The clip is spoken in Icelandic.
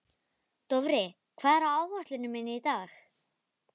Dofri, hvað er á áætluninni minni í dag?